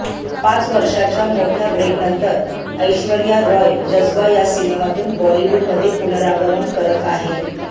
पाच वर्षांच्या मोठ्या ब्रेकनंतर ऐश्वर्या रॉय जज्बा या सिनेमातून बॉलीवूडमध्ये पनुरामगमन करत आहे